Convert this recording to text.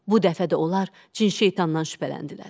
Bu dəfə də onlar cin şeytandan şübhələndilər.